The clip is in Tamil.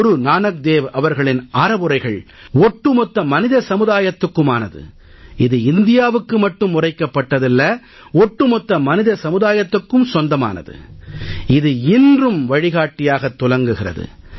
குரு நானக் தேவ் அவர்களின் அறவுரைகள் ஒட்டுமொத்த மனித சமுதாயத்துக்குமானது இது இந்தியாவுக்கு மட்டும் உரைக்கப்பட்டதல்ல ஒட்டு மொத்த மனித சமுதாயத்துக்கும் சொந்தமானது இது இன்றும் வழிகாட்டியாகத் துலங்குகிறது